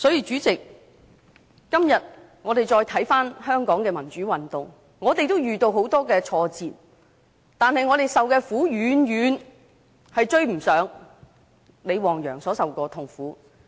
主席，今天再回看香港的民主運動，我們都遇到很多挫折，但我們受的苦遠遠不及李旺陽所受的。